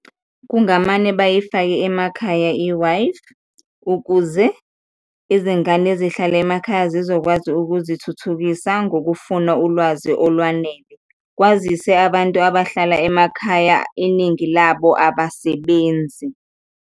Kungamane bayifake emakhaya i-Wi-Fi ukuze izingane ezihlala emakhaya zizokwazi ukuzithuthukisa ngokufuna ulwazi olwanele, kwazise abantu abahlala emakhaya iningi labo abasebenzi.